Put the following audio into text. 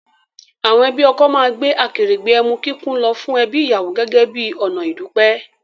Àwọn ẹbí ọkọ máa gbé akèrègbè emu kíkún lọ fún ẹbí ìyàwó gẹ́gẹ́ bí ọ̀nà ìdúpẹ́